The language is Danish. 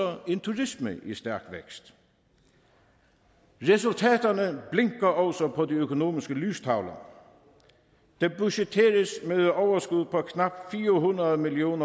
en turisme i stærk vækst resultaterne blinker også på de økonomiske lystavler der budgetteres med et overskud på knap fire hundrede million